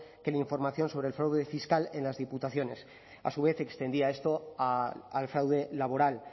que la información sobre el fraude fiscal en las diputaciones a su vez extendía esto al fraude laboral